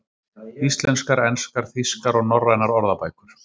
Íslenskar, enskar, þýskar og norrænar orðabækur.